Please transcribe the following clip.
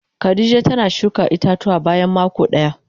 Khadijah tana shuka ita-tuwa bayan mako daya.